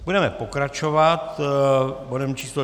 Budeme pokračovat bodem číslo